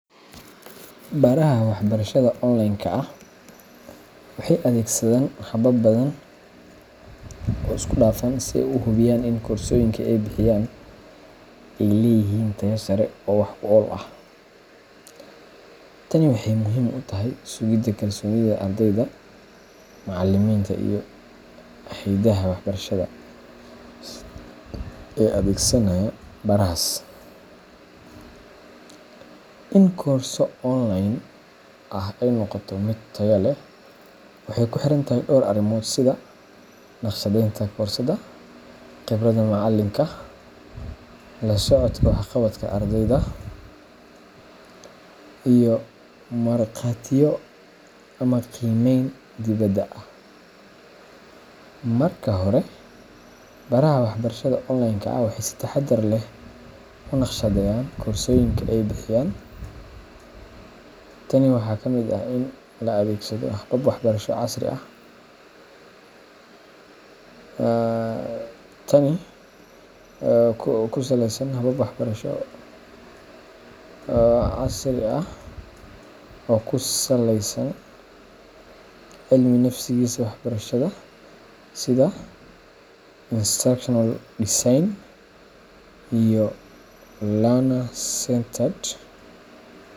Baraha waxbarashada online-ka ah waxay adeegsadaan habab badan oo isku dhafan si ay u hubiyaan in koorsooyinka ay bixiyaan ay leeyihiin tayo sare oo wax-ku-ool ah. Tani waxay muhiim u tahay sugidda kalsoonida ardayda, macallimiinta, iyo hay’adaha waxbarashada ee adeegsanaya barahaas. In koorso online ah ay noqoto mid tayo leh, waxay ku xiran tahay dhowr arrimood sida: naqshadeynta koorsada, khibradda macallinka, la socodka waxqabadka ardayda, iyo marqaatiyo ama qiimeyn dibadda ah. Marka hore, baraha waxbarashada online-ka ah waxay si taxaddar leh u naqshadeeyaan koorsooyinka ay bixiyaan. Tani waxaa ka mid ah in la adeegsado habab waxbarasho casri ah oo ku saleysan cilmi-nafsiga waxbarashada sida instructional design and learner-centered